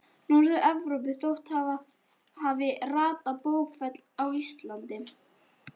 Norður-Evrópu þótt hún hafi ratað á bókfell á Íslandi.